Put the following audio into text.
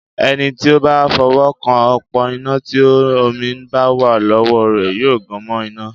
Ẹni tí ó bá fọwọ́ kan òpó iná tí omi bá wà lọ́wọ́ rẹ yóò gan mọ́ iná.